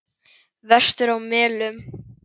Vestur á Melum.